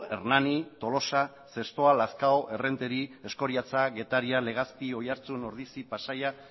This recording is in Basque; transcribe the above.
hernani tolosa zestoa lazkao errenteri eskoriatza getaria legazpi oiartzun ordizia pasaia